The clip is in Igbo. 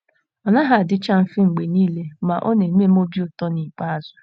Ọ naghị adịcha mfe mgbe niile, ma, ọ na - eme m obi ụtọ n’ikpeazụ. ”